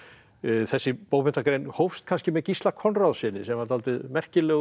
þessi bókmenntagrein hófst kannski með Gísla Konráðssyni sem var dálítið merkilegur